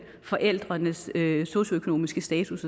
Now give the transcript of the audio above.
forældrenes socioøkonomiske status